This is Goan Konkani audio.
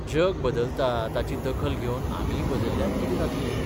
जग बदलता ताची दखल घेवन आमीय बदल्ल्यार कितें जातलें?